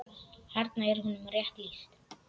Þarna er honum rétt lýst.